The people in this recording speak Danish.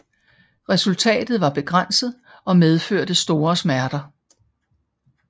Resultatet var begrænset og medførte store smerter